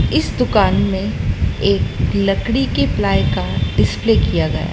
इस दुकान में एक लकड़ी के प्लाई का डिस्पले किया गया--